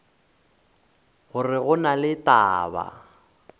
gore go na le taba